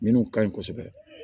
Minnu ka ɲi kosɛbɛ